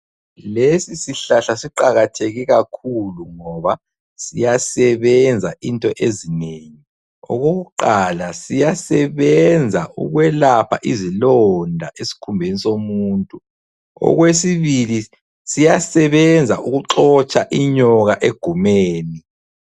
Lesi sihlahla siqakatheke kakhulu ngoba siyasebenza into ezinengi. Okokuqala siyasebenza ukwelapha izilonda esikhumbeni somuntu ,okwesibili siyasebenza ukuxotsha inyoka egumeni.